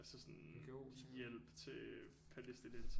Altså sådan hjælp til palæstinensere